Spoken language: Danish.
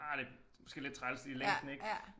Ah det måske lidt træls i længden ik